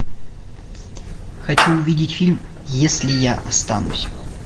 хочу увидеть фильм если я останусь